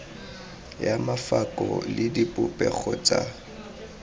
ya mafoko le dipopego tsa